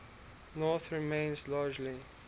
north remains largely